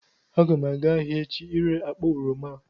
Aga m aga ahịa echi ire akpa oroma a